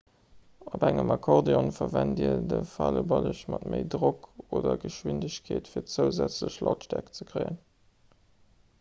op engem akkordeon verwent dir de faleballeg mat méi drock oder geschwindegkeet fir zousätzlech lautstäerkt ze kréien